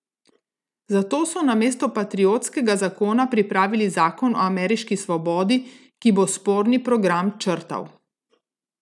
Zato so namesto patriotskega zakona pripravili zakon o ameriški svobodi, ki bo sporni program črtal.